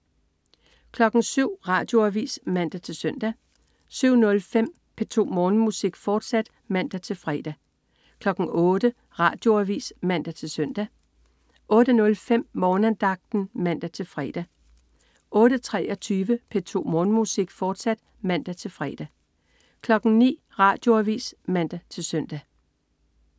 07.00 Radioavis (man-søn) 07.05 P2 Morgenmusik, fortsat (man-fre) 08.00 Radioavis (man-søn) 08.05 Morgenandagten (man-fre) 08.23 P2 Morgenmusik, fortsat (man-fre) 09.00 Radioavis (man-søn)